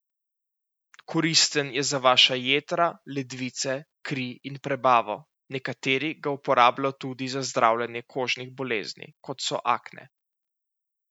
Koristen je za vaša jetra, ledvice, kri in prebavo, nekateri ga uporabljajo tudi za zdravljenje kožnih bolezni, kot so akne.